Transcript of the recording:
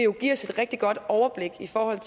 jo give os et rigtig godt overblik i forhold